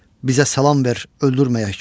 Bizə salam ver, öldürməyək.